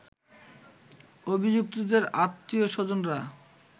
অভিযুক্তদের আত্মীয় স্বজনরা